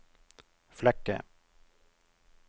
Flekke